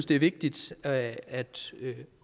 det er vigtigt at at